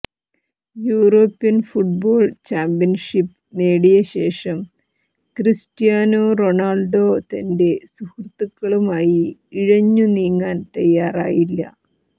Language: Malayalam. യൂറോപ്യൻ ഫുട്ബോൾ ചാമ്പ്യൻഷിപ്പ് നേടിയശേഷം ക്രിസ്റ്റ്യാനോ റൊണാൾഡോ തന്റെ സുഹൃത്തുക്കളുമായി ഇഴഞ്ഞു നീങ്ങാൻ തയ്യാറായില്ല